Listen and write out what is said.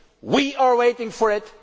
it we are waiting for